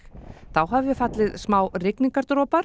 þá hafi fallið smá